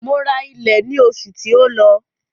Mo ra ilẹ̀ ní oṣù tí ó lọ.